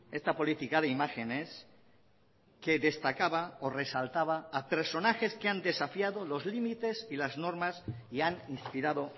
esta política de imágenes que destacaba o resaltaba a personajes que han desafiado los límites y las normas y han inspirado